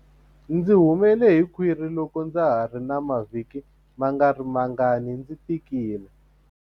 Ndzi humele hi khwiri loko ndza ha ri na mavhiki mangarimangani ndzi tikile.